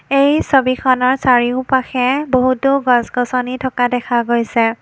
এই ছবিখনৰ চৰিওপাশে বহুতো গছ-গছনি থকা দেখা গৈছে।